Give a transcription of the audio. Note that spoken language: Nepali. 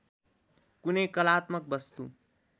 कुनै कलात्मक वस्तु